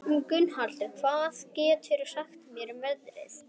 Gunnhallur, hvað geturðu sagt mér um veðrið?